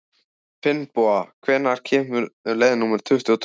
Finnboga, hvenær kemur leið númer tuttugu og tvö?